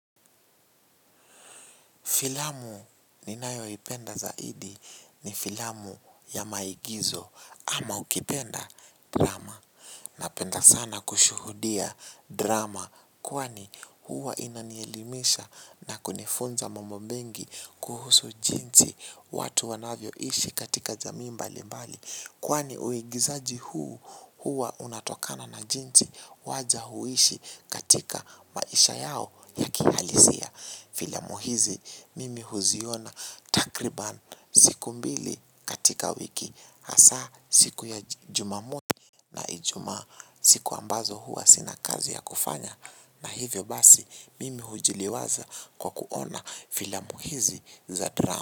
Filamu ninayo ipenda zaidi ni filamu ya maigizo ama ukipenda drama napenda sana kushuhudia drama kwani huwa inanielimisha na kunifunza mambo mengi kuhusu jinsi watu wanavyo ishi katika jamii mbali mbali kwani uigizaji huu huwa unatokana na jinsi waja huishi katika maisha yao ya kihalisia. Filamu hizi mimi huziona takriban siku mbili katika wiki hasa siku ya jumamosi na ijumaa siku ambazo huwa sina kazi ya kufanya. Na hivyo basi mimi hujiliwaza kwa kuona filamu hizi za drama.